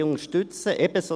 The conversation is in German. Wir unterstützen sie.